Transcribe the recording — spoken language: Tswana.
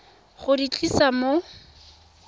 go di tlisa mo sa